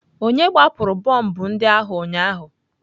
Onye gbapụrụ bọmbụ ndị ahụ ụnyaahụ?